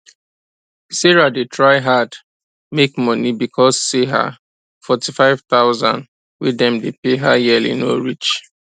sarah dey try hard make money because say her forty five thousand wey dem dey pay her yearly no reach